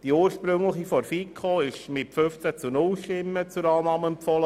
Die ursprüngliche Planungserklärung 2 wurde mit 15 zu 0 Stimmen zur Annahme empfohlen.